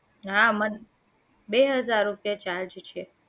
હા મન બે હજાર રૂપિયા charge છે